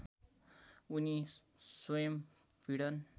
उनी स्वयं भिडन